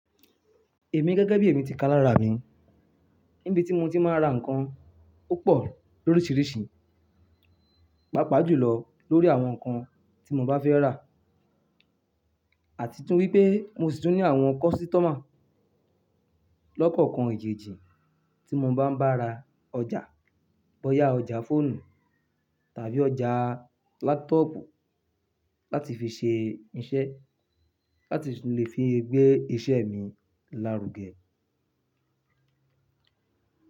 Èmi gẹ́gẹ́ bí èmi ti ká lára mi, níbi tí mo ti máa ń ra nǹkan opọ̀ lóríṣiríṣi, pàápàá jùlọ lórí àwọn nǹkan tí mo bá fẹ́ rà àti tún wípé mo sì tún ní àwọn kọ́sítọ́mà lọ́kọ̀ọkan ejẹ́ejì tí mo bá ń bá ra ọjà, bóyá ọjà fóònù tàbí ọjà láptọ́pù láti fi ṣe iṣẹ́ láti lè fi gbé iṣẹ́ mi lárugẹ.